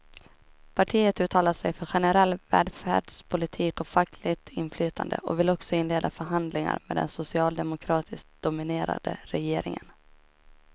Partiet uttalar sig för generell välfärdspolitik och fackligt inflytande och vill också inleda förhandlingar med den socialdemokratiskt dominerade regeringen.